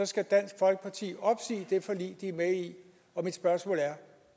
skal dansk folkeparti opsige det forlig de er med i og mit spørgsmål er